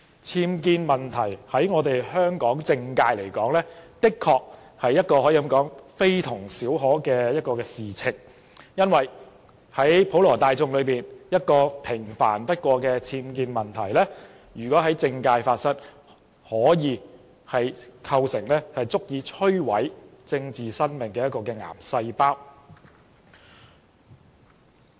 僭建問題對香港的政界，的確可說是非同小可的事，因為可能對普羅大眾而言只是一個平凡不過的僭建問題，若在政界發生，卻可以是足以摧毀一個人政治生命的癌細胞。